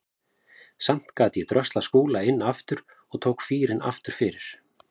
Samt gat ég dröslað Skúla inn aftur og tók fýrinn aftur fyrir.